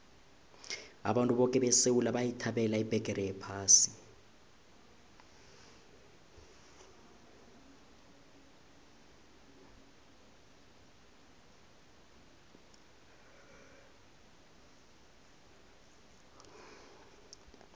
abantu boke besewula bayithabela ibheqere yephasi